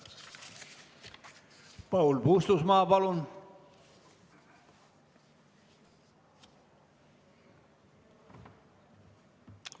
Paul Puustusmaa, palun!